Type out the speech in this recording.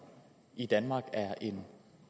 i danmark er en